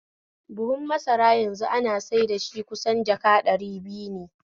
Buhu masara yanzu ana saida shi kusan jaka ɗari biyu ne